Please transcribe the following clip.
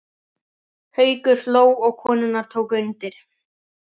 Haukur hló og konurnar tóku undir.